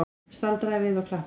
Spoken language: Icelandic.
Staldraði við og klappaði!